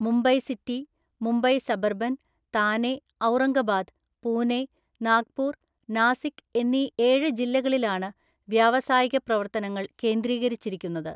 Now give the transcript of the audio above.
Mumbai city, Mumbai suburban, Thane, Aurangabad, Pune, Nagpur, Nashik എന്നീ ഏഴ് ജില്ലകളിലാണ് വ്യാവസായിക പ്രവർത്തനങ്ങൾ കേന്ദ്രീകരിച്ചിരിക്കുന്നത്.